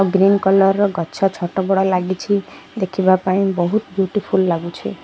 Green colour ର ଗଛ ଛୋଟ ବଡ଼ ଲାଗିଛି ଦେଖିବା ପାଇଁ ବହୁତ ବିୟୁଟିଫୁଲ ଲାଗୁଛି।